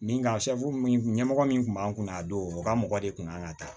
Min ka min ɲɛmɔgɔ min tun b'an kun na a don u ka mɔgɔ de kun kan ka taa